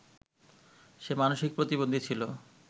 সে মানসিক প্রতিবন্ধী ছিল